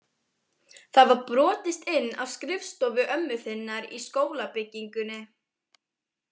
Það var brotist inn á skrifstofu ömmu þinnar í skólabyggingunni.